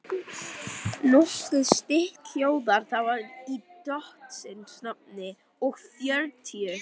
Nokkuð stytt hljóðar það svo í drottins nafni og fjörutíu